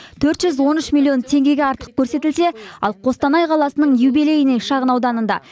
төрт жүз он үш миллион теңгеге артық көрсетілсе ал қостанай қаласының юбилейный шағын ауданында